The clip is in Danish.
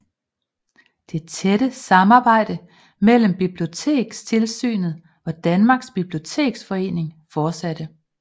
Det tætte samarbejde mellem Bibliotekstilsynet og Danmarks Biblioteksforening fortsatte